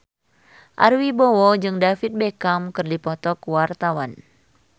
Ari Wibowo jeung David Beckham keur dipoto ku wartawan